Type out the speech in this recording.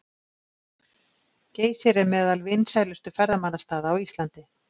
Geysir er meðal vinsælustu ferðamannastaða á Íslandi.